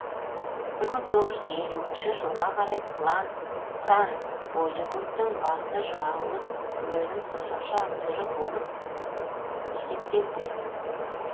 бір мың тоғыз жүз елуінші жылға қарай пран болливудтың басты жауыз рөлін сомдаушы актері болып есептелді